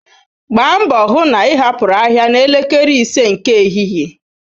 Gbaa mbo hu na ị hapụru ahịa na elekere ise nke ehihie.